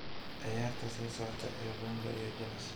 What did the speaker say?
ciyaarta soo socota ee bonga iyo jalas